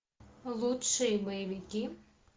лучшие боевики